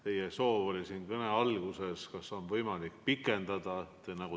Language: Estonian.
Te soovisite kõne alguses teada, kas on võimalik pikendada.